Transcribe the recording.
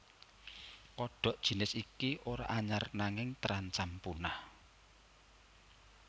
Kodhok jinis iki ora anyar nanging terancam punah